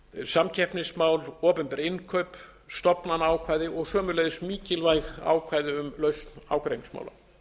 samkeppnismál opinber innkaup stofnanaákvæði og sömuleiðis mikilvæg ákvæði um lausn ágreiningsmála